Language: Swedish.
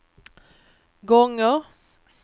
gånger